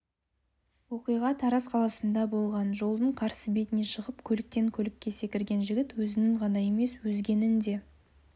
оқиға тараз қаласында болған жолдың қарсы бетіне шығып көліктен-көлікке секірген жігіт өзінің ғана емес өзгенің де